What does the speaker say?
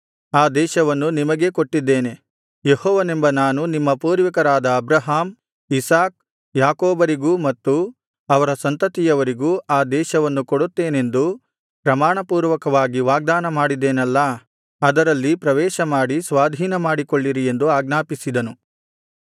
ಆ ದೇಶವನ್ನು ನಿಮಗೇ ಕೊಟ್ಟಿದ್ದೇನೆ ಯೆಹೋವನೆಂಬ ನಾನು ನಿಮ್ಮ ಪೂರ್ವಿಕರಾದ ಅಬ್ರಹಾಮ್ ಇಸಾಕ್ ಯಾಕೋಬರಿಗೂ ಮತ್ತು ಅವರ ಸಂತತಿಯವರಿಗೂ ಆ ದೇಶವನ್ನು ಕೊಡುತ್ತೇನೆಂದು ಪ್ರಮಾಣಪೂರ್ವಕವಾಗಿ ವಾಗ್ದಾನ ಮಾಡಿದೆನಲ್ಲಾ ಅದರಲ್ಲಿ ಪ್ರವೇಶಮಾಡಿ ಸ್ವಾಧೀನಮಾಡಿಕೊಳ್ಳಿರಿ ಎಂದು ಅಜ್ಞಾಪಿಸಿದನು